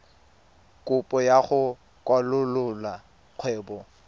kopo ya go kwalolola kgwebo